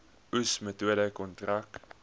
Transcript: oes metode kontrak